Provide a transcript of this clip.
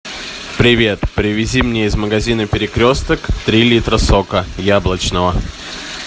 привет привези мне из магазина перекресток три литра сока яблочного